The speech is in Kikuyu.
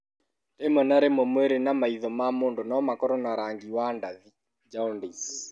Rĩmwe na rĩmwe, mwĩrĩ na maitho ma mũndũ no makorũo na rangi wa rangi wa ndathi (jaundice).